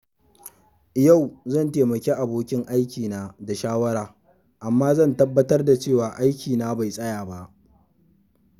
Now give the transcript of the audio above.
Yau zan taimaki abokin aikina da shawara, amma zan tabbatar da cewa aikina bai tsaya ba.